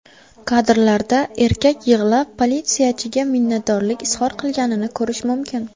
Kadrlarda erkak yig‘lab, politsiyachiga minnatdorlik izhor qilganini ko‘rish mumkin.